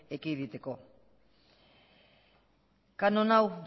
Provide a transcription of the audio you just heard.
ekiditeko kanon hau